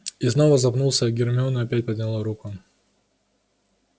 и снова запнулся гермиона опять подняла руку